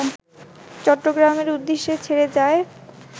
চট্টগ্রামের উদ্দেশ্যে ছেড়ে যায়